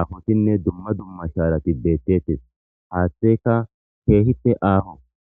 aafotinne dumma dumma shaarati beettettes haaththeka keehite aaho.